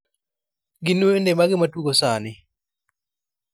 gin wende mage matugo sani